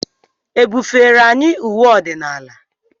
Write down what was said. E bufere anyị uwe ọdịnala?